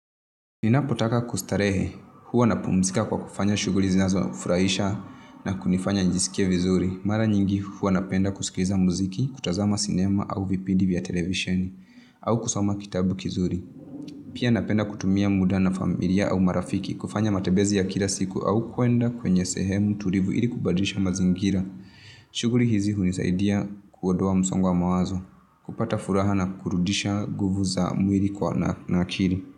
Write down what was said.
Ninapotaka kustarehe, huwa napumzika kwa kufanya shughuli zinazofurahisha na kunifanya nijisikie vizuri. Mara nyingi huwa napenda kusikiza muziki, kutazama sinema au vipindi vya televisheni, au kusoma kitabu kizuri. Pia napenda kutumia muda na familia au marafiki, kufanya matembezi ya kila siku au kuenda kwenye sehemu, tulivu ili kubadirisha mazingira. Shughuli hizi hunisaidia kuondoa msongo wa mawazo. Kupata furaha na kurudisha nguvu za mwili kwa na akili.